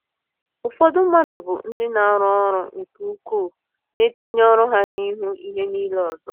Ụfọdụ mmadụ bụ ndị na-arụ ọrụ nke ukwuu, na-etinye ọrụ ha n’ihu ihe niile ọzọ.